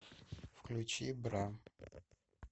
включи бра